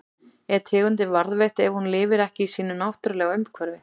Er tegundin varðveitt ef hún lifir ekki í sínu náttúrulega umhverfi?